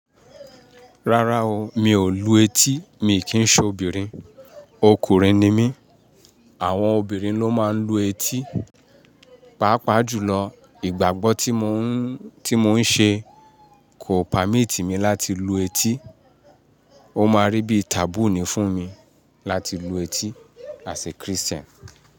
Rárá o, mi ò lu etí, mi kì í ṣe obìnrin, ọkùnrin ni mí. Àwọn obìnrin ló máa ń lu etí. Pàápàá jùlọ, ìgbàgbọ́ tí mo ń, tí mò ń ṣe kò pamíit mi láti lu etí. Ó máa rí bíi taboo ni fún mi láti lu etí as a Christian.